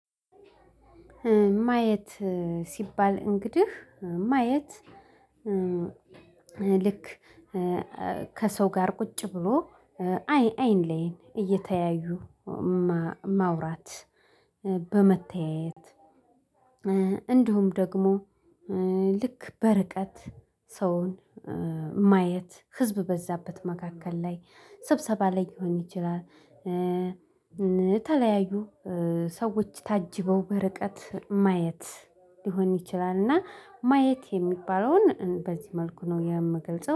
ማየት ሲባል እንግዲህ ማየት ልክ ከሰው ጋር ቁጭ ብሎ አይን አይን ላይ እየተያዩ ማውራት በመተያየት። እንዲሁም ደግሞ ልክ በርቀት ሰውን ማየት ህዝብ በበዛበት መካከል ላይ ስብሰባ ላይ ሊሆን ይችላል። የተለያዩ ሰዎች ታጅበው በርቀት ማየት ሊሆን ይችላል። እና ማየት የሚባለውን በዚህ መልኩ ነው የምገልጸው